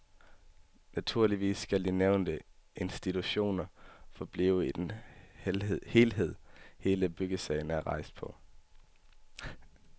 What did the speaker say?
Naturligvis skal de nævnte institutioner forblive i den helhed hele byggesagen er rejst på.